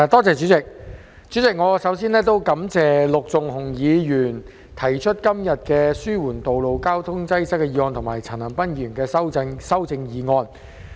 主席，我首先感謝陸頌雄議員今天提出"紓緩道路交通擠塞"的議案，以及陳恒鑌議員提出修正案。